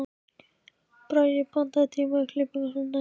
Bragi, pantaðu tíma í klippingu á sunnudaginn.